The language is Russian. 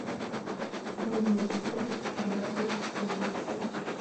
открой мне эпизод тринадцать притворщик